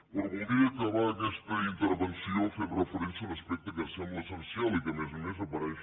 però voldria acabar aquesta intervenció fent referència a un aspecte que em sembla essencial i que a més a més apareix